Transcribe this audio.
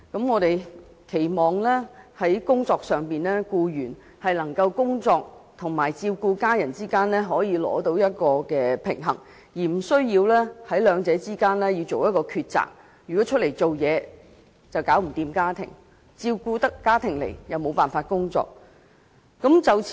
我們期望僱員能夠在工作與照顧家人之間取得平衡，而不需二擇其一：外出工作便無法照顧家庭；照顧家庭便無法工作。